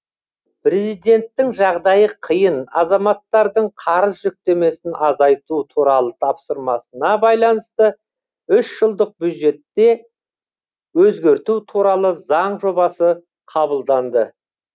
президенттің жағдайы қиын азаматтардың қарыз жүктемесін азайту туралы тапсырмасына байланысты үш жылдық бюджетті өзгерту туралы заң жобасы қабылданды